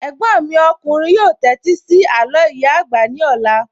Ẹ̀gbọ́n mi ọkùnrin yóò tẹ́tí sí àló ìyá àgbà ní ọ̀la